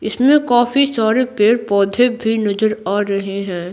इसमें काफी सारे पेड़-पौधे भी नजर आ रहे हैं।